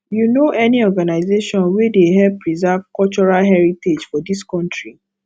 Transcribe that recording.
you know any organization wey dey help preserve cultural heritage for dis country